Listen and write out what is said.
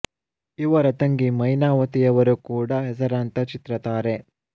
ಇವರ ತಂಗಿ ಮೈನಾವತಿ ಯವರು ಕೂಡ ಹೆಸರಾಂತ ಚಿತ್ರ ತಾರೆ